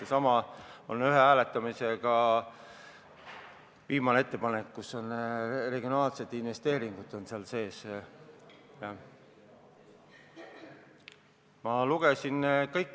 Seesama lugu oli ühe hääletamisega, see oli viimane ettepanek, kus regionaalsed investeeringud sees olid.